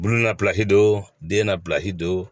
Bulon napido den na pilasi do